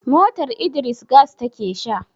motar Idris gas take Sha